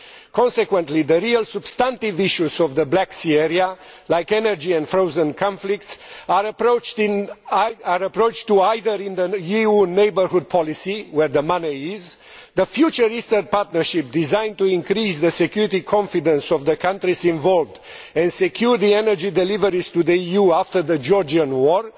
Consequently, the real substantive issues of the Black Sea area, like energy and frozen conflicts, are approached either through the EU Neighbourhood Policy, where the money is the future Eastern Partnership, designed to increase the security confidence of the countries involved and secure the energy deliveries to the EU after the Georgian war